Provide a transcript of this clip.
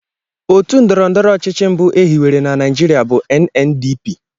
Otu ndọrọndọrọ ọchịchị mbụ e hiwere na Naijiria bụ NNDP